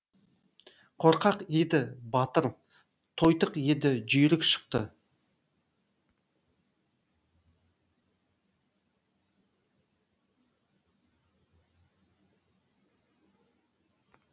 қорқақ еді батыр тойтық еді жүйрік шықты